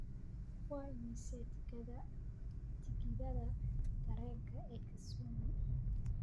waa imisa tikidhada tareenka ee kisumu